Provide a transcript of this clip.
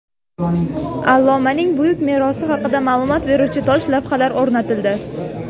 Allomaning buyuk merosi haqida ma’lumot beruvchi tosh lavhlar o‘rnatildi.